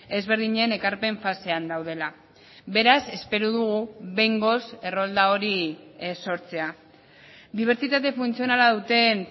ezberdinen ekarpen fasean daudela beraz espero dugu behingoz errolda hori sortzea dibertsitate funtzionala duten